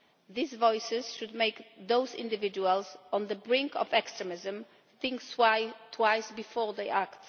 These voices should make those individuals on the brink of extremism think twice before they act.